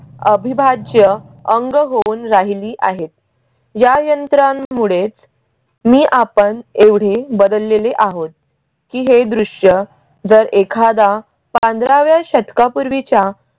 अविभाज्य अंग होऊन राहिली आहेत. या यंत्रणे मुळेच मी आपण एवढी बदललेली आहोत की हे दृश्य जर एखादा पंधराव्या शतकापूर्वीचा